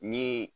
Ni